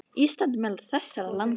Ísland er meðal þessara landa.